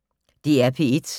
DR P1